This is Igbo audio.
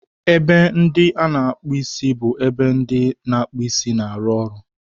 Ebe ndị a na-akpụ isi bụ ebe ndị na-akpụ isi na-arụ ọrụ